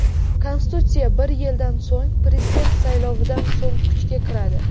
Konstitutsiya bir yildan so‘ng, prezident saylovidan so‘ng kuchga kiradi.